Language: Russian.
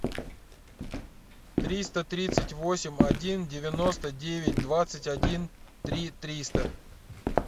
триста тридцать восемь один девяносто девять двадцать один три триста